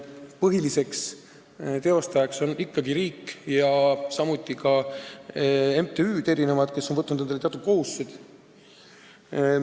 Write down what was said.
Põhiline tegutseja on ikkagi riik ja samuti MTÜ-d, kes on võtnud endale teatud kohustused.